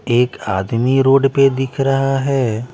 एक आदमी रोड पे दिख रहा हैं।